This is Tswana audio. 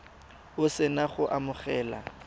o se na go amogela